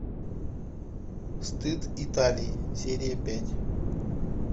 стыд италия серия пять